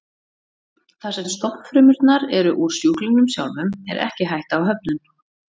Þar sem stofnfrumurnar eru úr sjúklingnum sjálfum er ekki hætta á höfnun.